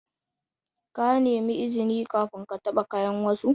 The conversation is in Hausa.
Ka nemi izini kafin ka taba kayan wasu.